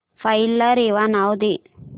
file ला रेवा नाव दे